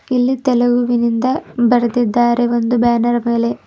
ಇಲ್ಲಿ ತೆಲುಗುವಿನಿಂದ ಬರೆದಿದ್ದಾರೆ ಒಂದು ಬ್ಯಾನರ್ ಮೇಲೆ--